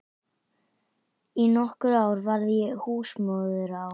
Í nokkur ár var ég húsmóðir á